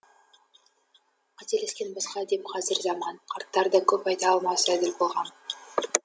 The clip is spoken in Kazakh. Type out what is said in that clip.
қателескен басқа деп қазір заман қарттар да көп айта алмас әділ бағам